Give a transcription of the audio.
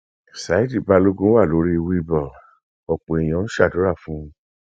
ṣáìtì balógun wà lórí wheelball ọpọ èèyàn ń ṣàdúrà fún un